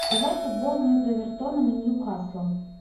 давай футбол между эвертоном и ньюкаслом